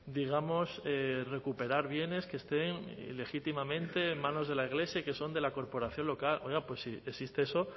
digamos recuperar bienes que estén ilegítimamente en manos de la iglesia y que son de la corporación local oiga pues si existe eso